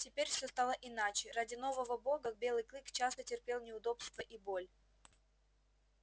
теперь всё стало иначе ради нового бога белый клык часто терпел неудобства и боль